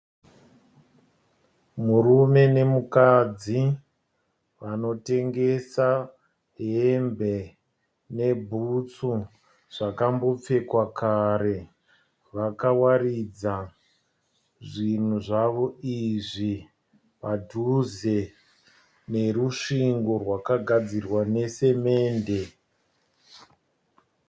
Murume nemukadzi vanotengesa hembe ne bhutsu zvakambopfekwa kare. Vakawaridza zvinhu zvavo izvi padhuze nerusvingo rwakagadzirwa nesemende.